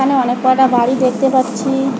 এখানে অনেককটা বাড়ি দেখতে পাচ্ছি।